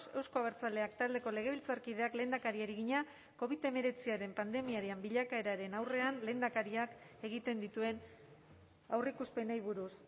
euzko abertzaleak taldeko legebiltzarkideak lehendakariari egina covid hemeretziaren pandemiaren bilakaeraren aurrean lehendakariak egiten dituen aurreikuspenei buruz